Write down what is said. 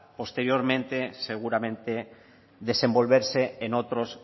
posteriormente seguramente desenvolverse en otros